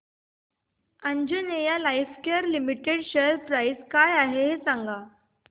Anjaneya lifecare limited share price काय आहे सांगा